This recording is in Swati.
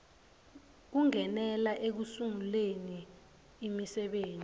kungenela ekusunguleni imisebenti